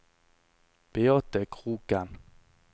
Beate Kroken